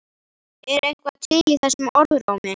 Er eitthvað til í þessum orðrómi?